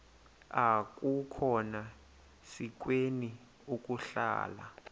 akukhona sikweni ukuhlala